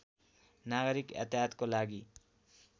नागरिक यातायातको लागि